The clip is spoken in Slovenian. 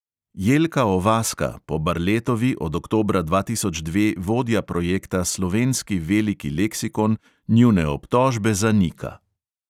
Jelka ovaska, po barletovi od oktobra dva tisoč dve vodja projekta slovenski veliki leksikon, njune obtožbe zanika.